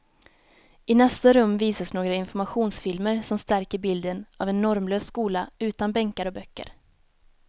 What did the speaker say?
I nästa rum visas några informationsfilmer som stärker bilden av en normlös skola utan bänkar och böcker.